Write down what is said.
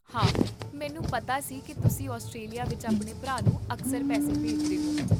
ਹਾਂ, ਮੈਨੂੰ ਪਤਾ ਸੀ ਕਿ ਤੁਸੀਂ ਆਸਟ੍ਰੇਲੀਆ ਵਿੱਚ ਆਪਣੇ ਭਰਾ ਨੂੰ ਅਕਸਰ ਪੈਸੇ ਭੇਜਦੇ ਹੋ